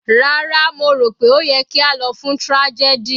Rárá, mo rò pé ó yẹ kí a lọ fún tragedy.